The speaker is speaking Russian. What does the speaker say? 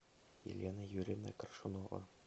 елена юрьевна коршунова